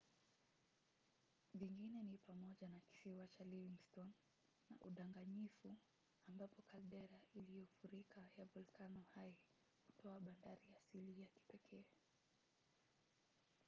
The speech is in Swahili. vingine ni pamoja na kisiwa cha livingston na udanganyifu ambapo kaldera iliyofurika ya volkano hai hutoa bandari asili ya kipekee